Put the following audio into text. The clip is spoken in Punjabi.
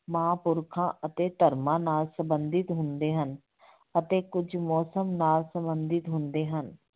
ਮਹਾਂ ਪੁਰਖਾਂ ਅਤੇ ਧਰਮਾਂ ਨਾਲ ਸੰਬੰਧਿਤ ਹੁੰਦੇ ਹਨ ਅਤੇ ਕੁੱਝ ਮੌਸਮ ਨਾਲ ਸੰਬੰਧਿਤ ਹੁੰਦੇ ਹਨ।